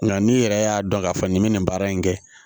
Nka n'i yɛrɛ y'a dɔn k'a fɔ nin bɛ nin baara in kɛ